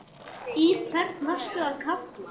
Í hvern varstu að kalla?